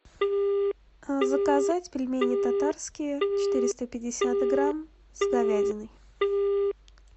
заказать пельмени татарские четыреста пятьдесят грамм с говядиной